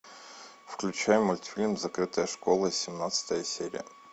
включай мультфильм закрытая школа семнадцатая серия